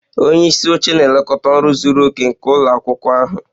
Onye isi oche na-elekọta ọrụ zuru oke nke ụlọ akwụkwọ ahụ